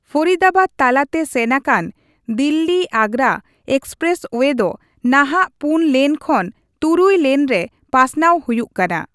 ᱯᱷᱚᱨᱤᱫᱟᱵᱟᱫᱽ ᱛᱟᱞᱟ ᱛᱮ ᱥᱮᱱ ᱟᱠᱟᱱ ᱫᱤᱞᱞᱤ ᱼ ᱟᱜᱽᱜᱨᱟ ᱮᱠᱥᱯᱨᱮᱥ ᱳᱭᱮ ᱫᱚ ᱱᱟᱦᱟᱜ ᱯᱩᱱ ᱞᱮᱱ ᱠᱷᱚᱱ ᱛᱩᱨᱩᱭ ᱞᱮᱱ ᱨᱮ ᱯᱟᱥᱱᱟᱣ ᱦᱩᱭᱩᱜ ᱠᱟᱱᱟ ᱾